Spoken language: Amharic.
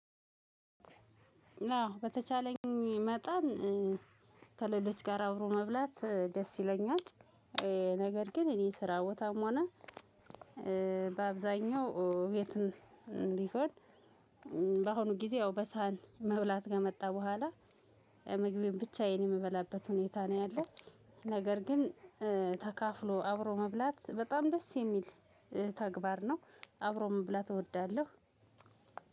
አዎ በተቻለኝ መጠን ከሌሎች ጋር አብሮ መብላት ደስ ይለኛል። ነገር ግን እኔ ስራ ቦታም ሆነ በአብዛኛው የትም ቢሆን። በአሁኑ ጊዜ ያው በሳህን መብላት ከመጣ በኋላ ምግቤን ብቻዬን የምበላበት ሁኔታ ነው ያለው። ነገር ግን ተካፍሎ አብሮ መብላት በጣም ደስ የሚል ተግባር ነው። አብሮ መብላት እወዳለሁ።